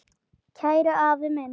Kæri afi minn.